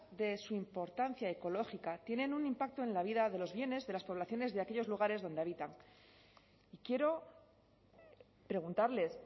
de su importancia ecológica tienen un impacto en la vida de los bienes de las poblaciones de aquellos lugares donde habitan quiero preguntarles